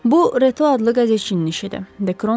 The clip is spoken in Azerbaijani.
Bu Retu adlı qəzetçinin işidir, Dekron dedi.